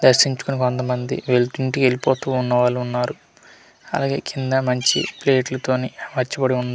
దర్శించుకొని కొంత మంది వెళ్తుంటు ఇంటికి వెళ్లిపోతు ఉన్నవాళ్ళు ఉన్నారు అలాగే కింద మంచి ప్లేట్ ల తోని అమర్చబడి ఉన్--